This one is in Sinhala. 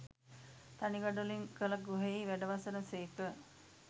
තනි ගඩොලින් කළ ගෘහයෙහි වැඩවසන සේක